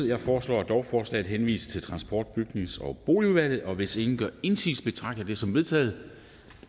jeg foreslår at lovforslaget henvises til transport bygnings og boligudvalget hvis ingen gør indsigelse betragter jeg det som vedtaget